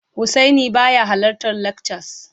Husaini baya halartar lakcas